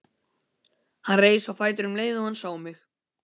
Hann reis á fætur um leið og hann sá mig.